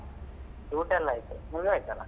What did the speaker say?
ಊಟ ಎಲ್ಲ ಆಯ್ತು ನಿಮ್ದು ಆಯ್ತಾಲ್ಲಾ?